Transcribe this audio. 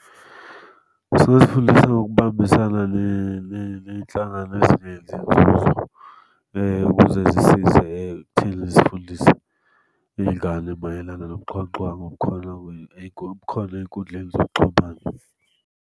Sisuke sifundisa ngokubambisana ney'nhlangano ezingenzi nzuzo, ukuze zisize thina esifundisa iy'ngane mayelana nobuxhwanguxhwangu obukhona , obukhona ey'nkundleni zokuxhumana.